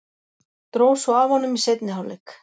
Dró svo af honum í seinni hálfleik.